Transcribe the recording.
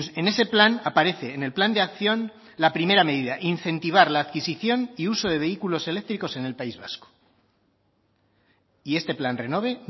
en ese plan aparece en el plan de acción la primera medida incentivar la adquisición y uso de vehículos eléctricos en el país vasco y este plan renove